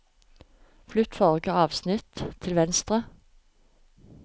Flytt forrige avsnitt til venstre